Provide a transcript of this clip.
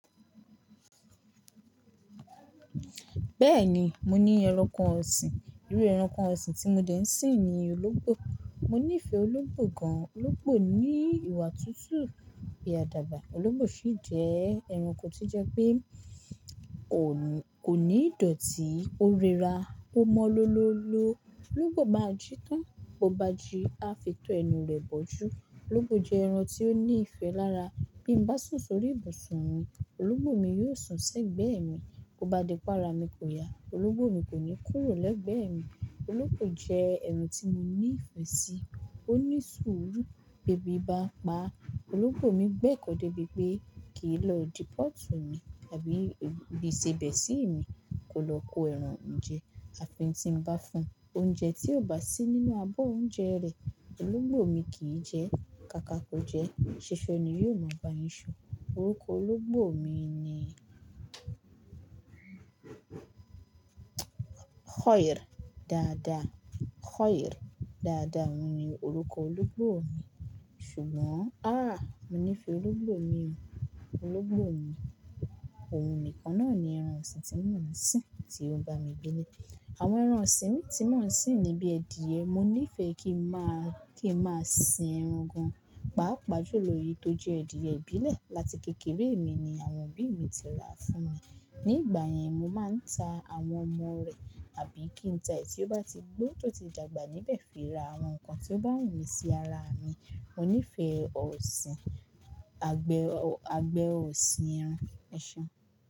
Bẹ́ẹ̀ni, mo ní ẹranko ọ̀sìn. Irú ẹranko ọ̀sìn tí mo dè ń sìn ni ológbò. Mo nífẹ̀ẹ́ ológbò gan-an, ológbò ní ìwà tútù, bi àdaba. Ológbò sì jẹ́ ẹranko to jẹ́ pé kò ní ìdọ̀tí, ó rẹra, ó mọ́ lọlọ́lọ́. Ológbò máa jí tán, bó bá jí á fi tọ́ ẹnu rẹ̀ bọ́jú. Ológbò jẹ́ ẹran tí ó ní ìfẹ́ lára, bí n bá sùn sórí ìbùsùn òun, ológbò mi yóò sùnsẹ́ gbẹ́ẹ̀mi, bó bá di pé ara mi kò ya, ológbò mi kò ní kúrò lẹ́gbẹ̀ẹ́ mi. Ológbò jẹ́ ẹran tí mo ní ìfẹ́ sí, ó ní sùúrù. Bi ẹ́bí bá n pa á, ológbò mi gbẹ́kọ̀ọ́ débi pé kì í lọ idi pọ̀tù mi àbí ibí iṣẹ́ bẹ́ẹ̀ sí mi, kò lọ kó ẹran jẹ. Àfi tí n bá fún un oúnjẹ tí ò bá sí nínú abọ́ oúnjẹ rẹ̀, ológbò mi kì í jẹ. Káká kò jẹ́, ṣiṣẹ ni yóò máa bá yín ṣo. Orúkọ ológbò mi ni Khòír dàda. Khòír dàda ni orúkọ ológbò mi. Ṣùgbọ́n, áà, mo nífẹ̀ẹ́ ológbò mi. Ológbò mi, òun nìkan náà ni ẹran ọ̀sìn tí mò ń sìn tí ó ń bá mi gbelé. Àwọn ẹran ọ̀sìn mi tí mò ń sìn ni bí i ẹdìyẹ, mo nífẹ̀ẹ́ kí n máa, kí n máa sin ẹran gan-an. Páápàá jó lọ eyìí tó jẹ́ ẹdìyẹ ìbílẹ̀. Láti kékeré mi ni àwọn obí i mi ti rà fún mi. Nígbà yẹn mo máa ń ta àwọn ọmọ rẹ̀, àbí kí n ta ẹ̀yi tí ó bá ti gbó tó ti dàgbà níbẹ̀ fi ra àwọn nǹkan tí ó bá wù mí sí ara mi. Mo nífẹ̀ẹ́ ọ̀sìn, àgbẹ̀ ọ̀sìn ẹran, ẹsan.